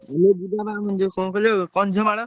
ଆମେ ଯିବା ଏ ଯୋଉ କଣ କହିଲ କନ୍ଧମାଳ।